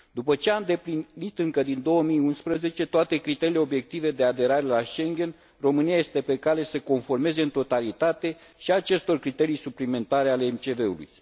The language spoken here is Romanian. După ce a îndeplinit, încă din 2011, toate criteriile obiective de aderare la Schengen, România este pe cale să se conformeze în totalitate și acestor criterii suplimentare ale MCV ului.